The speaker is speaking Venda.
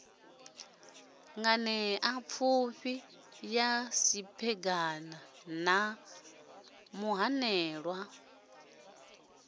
nganeapfufhi ya siphegana na muhanelwa